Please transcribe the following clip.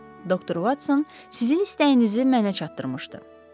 Doktor Watson sizin istəyinizi mənə çatdırmışdı.